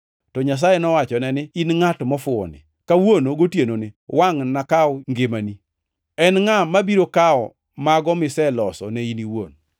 “To Nyasaye nowachone ni, ‘In ngʼat mofuwoni! Kawuono gotienoni wangʼ nokaw ngimani. En ngʼa mabiro kawo mago miseloso ne in iwuon?’